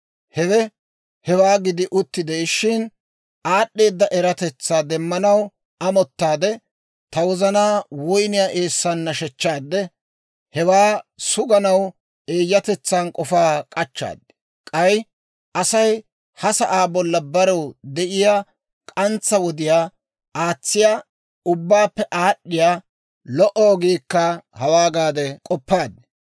Hewe hewaa gidi utti de'ishshin, aad'd'eeda eratetsaa demmanaw amottaade, ta wozanaa woyniyaa eessan nashshechchaade, hewaa suganaw eeyyatetsan k'ofaa k'achchaad. K'ay Asay ha sa'aa bolla barew de'iyaa k'antsa wodiyaa aatsiyaa, ubbaappe aad'd'iyaa lo"o ogiikka hawaa gaade k'oppaad.